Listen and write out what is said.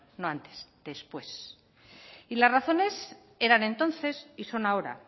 no antes después y las razones eran entonces y son ahora